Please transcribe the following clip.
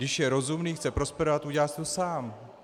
Když je rozumný, chce prosperovat, udělá si to sám.